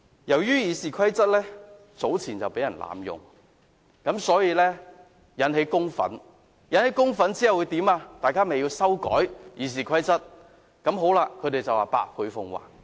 由於《議事規則》早前曾被濫用，引起公憤，所以便需要修改《議事規則》，之後他們說會百倍奉還。